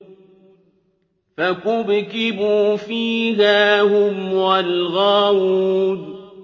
فَكُبْكِبُوا فِيهَا هُمْ وَالْغَاوُونَ